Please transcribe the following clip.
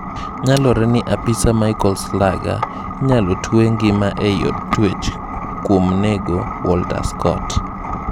Nyalore ni apisa Michael Slager inalotwee ngima ei od twech kwuon nego Walter Scott.